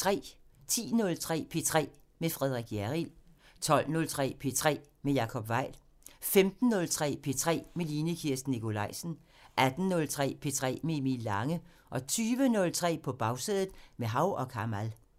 10:03: P3 med Frederik Hjerrild 12:03: P3 med Jacob Weil 15:03: P3 med Line Kirsten Nikolajsen 18:03: P3 med Emil Lange 20:03: På Bagsædet – med Hav & Kamal